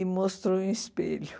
E mostrou um espelho.